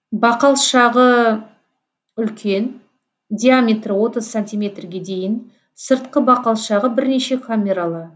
бақалшағы үлкен диаметрі отыз сантиметрге дейін сыртқы бақалшағы бірнеше камералы